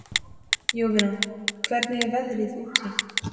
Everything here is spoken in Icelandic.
Jovina, hvernig er veðrið úti?